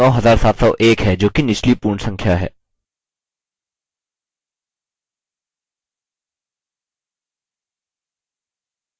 उत्तर अब 9701 है जोकि निचली पूर्ण संख्या है